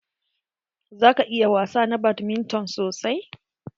Ka iya wasa na badminton sosai?